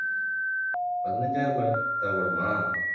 பதினைந்து ஆயிரம் தேவைப்படுமா